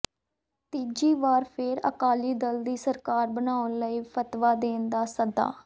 ਤੀਜੀ ਵਾਰ ਫੇਰ ਅਕਾਲੀ ਦਲ ਦੀ ਸਰਕਾਰ ਬਣਾਉਣ ਲਈ ਫਤਵਾ ਦੇਣ ਦਾ ਸੱਦਾ